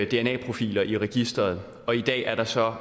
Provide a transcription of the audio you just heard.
dna profiler i registeret i dag er der så